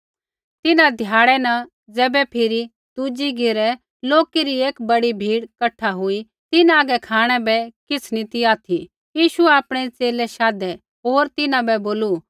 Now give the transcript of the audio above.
तिन्हां ध्याड़ै न ज़ैबै फिरी दुज़ी घेरै लोकै री एक बड़ी भीड़ कठा हुई तिन्हां हागै खाँणै बै किछ़ नी ती ऑथि यीशुऐ आपणै च़ेले शाधै होर तिन्हां बै बोलू